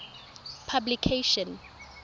publication